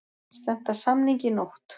Stefnt að samningi í nótt